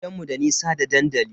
Gidanmu da nisa da dandali.